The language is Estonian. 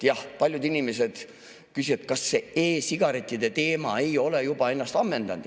Jah, paljud inimesed küsivad, kas see e-sigarettide teema ei ole ennast juba ammendanud.